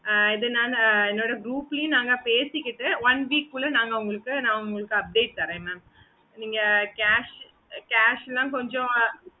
okay mam